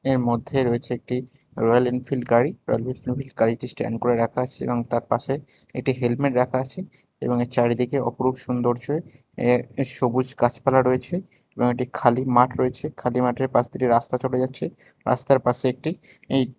এর মধ্যে রয়েছে একটি রয়্যাল এনফিল্ড গাড়ি রয়্যাল এনফিল্ড গাড়িটি স্ট্যান্ড করে রাখা আছে এবং তার পাশে এটি হেলমেট রাখা আছে এবং চারিদিকে অপরূপ সৌন্দর্যে সবুজ গাছপালা রয়েছে এবং একটি খালি মাঠ রয়েছে খালি মাঠের পাশ দিয়ে রাস্তা চলে যাচ্ছে রাস্তার পাশে একটি এই--